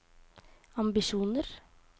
ambisjoner